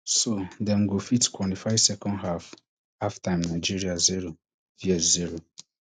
so dem go fit qualify second half halftime nigeria zero vs zero